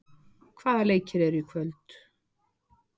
Jóna, hvaða leikir eru í kvöld?